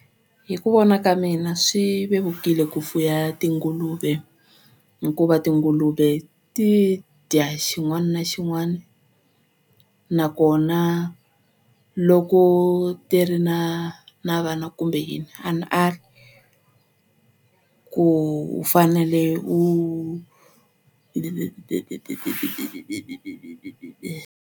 Hi ku vona ka mina swi vevukile ku fuya tinguluve hikuva tinguluve ti dya xin'wana na xin'wana nakona loko ti ri na na vana kumbe yini a ni ali ku u fanele u .